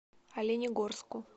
оленегорску